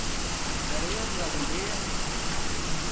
ਡਰੇ ਉਹ ਡਰਾਣ ਦੇ ਆ ਮਿਨੂੰ।